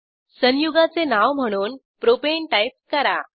संयुगाचे नाव म्हणून propane type करा